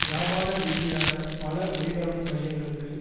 வியாபார ரீதியிலான பல ஒலிபரப்பு மையங்களுக்கு